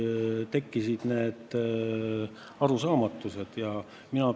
See on retooriline küsimus, aga ütelge: miks ei ole astutud neid samme?